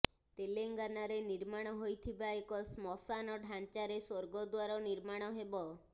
ତେଲଙ୍ଗାନାରେ ନିର୍ମାଣ ହୋଇଥିବା ଏକ ଶ୍ମଶାନ ଢାଞ୍ଚାରେ ସ୍ବର୍ଗଦ୍ବାର ନିର୍ମାଣ ହେବ